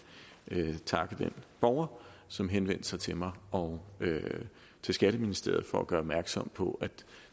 takke den borger som henvendte sig til mig og skatteministeriet for at gøre opmærksom på at